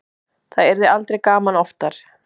Það yrði aldrei gaman oftar.